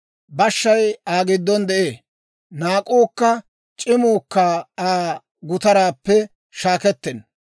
Bashshay Aa giddon de'ee; naak'uukka c'imuukka Aa gutaraappe shaakkettenna.